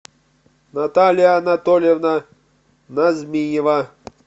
наталья анатольевна назмиева